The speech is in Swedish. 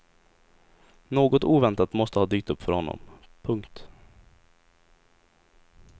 Något oväntat måste ha dykt upp för honom. punkt